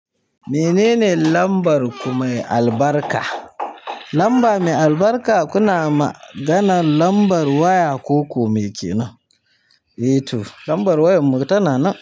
Menene lambar ku mai albarka? Lamba mai albarka, kana maganar lambar waya koko me kenan? E to lambar wayar mu tana nan.